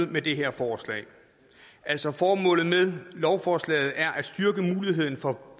med det her forslag altså formålet med lovforslaget er at styrke muligheden for